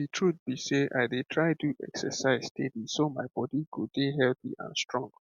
the truth be sey i dey try do exercise steady so my body go dey healthy and strong